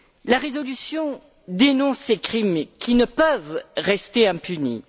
La résolution dénonce ces crimes, qui ne peuvent rester impunis.